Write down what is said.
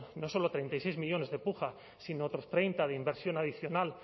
no solo treinta y seis millónes de puja sino otros treinta de inversión adicional